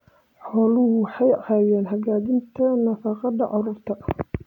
Xooluhu waxay caawiyaan hagaajinta nafaqada carruurta.